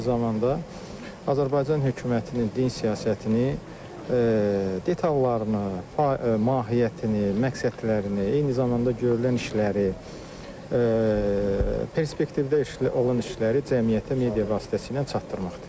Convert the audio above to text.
Eyni zamanda Azərbaycan hökumətinin din siyasətini detallarını, mahiyyətini, məqsədlərini, eyni zamanda görülən işləri, perspektivdə iş olan işləri cəmiyyətə media vasitəsilə çatdırmaqdır.